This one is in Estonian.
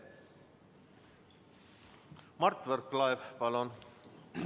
Mart Võrklaev, palun!